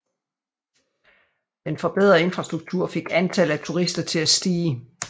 Den forbedrede infrastruktur fik antallet af turister til at stige